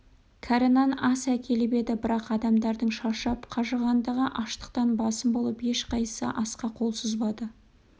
кәрі нан ас әкеліп еді бірақ адамдардың шаршап қажығандығы аштықтан басым болып ешқайсысы асқа қол созбады